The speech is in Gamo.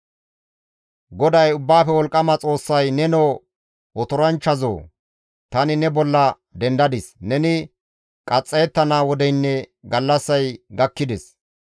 GODAY Ubbaafe Wolqqama Xoossay, «Nenoo otoranchchazoo! Tani ne bolla dendadis; neni qaxxayettana wodeynne gallassay gakkides.